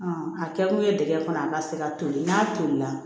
a kɛ kun ye dingɛ kɔnɔ a ka se ka toli n'a tolila